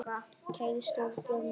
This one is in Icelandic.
Kæri stóri bróðir minn.